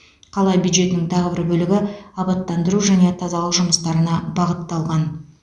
қала бюджетінің тағы бір бөлігі абаттандыру және тазалық жұмыстарына бағытталған